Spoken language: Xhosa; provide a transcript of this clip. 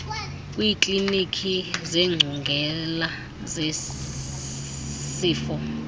kwiiklinikhi zeengcungela zesifo